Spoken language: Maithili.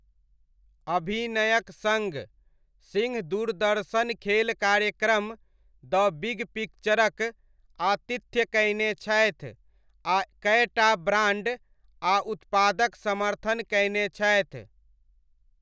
अभिनयक सङ्ग, सिंह दूरदर्शन खेल कार्यक्रम, द बिग पिक्चरक, आतिथ्य कयने छथि आ कएटा ब्राण्ड आ उत्पादक समर्थन कयने छथि।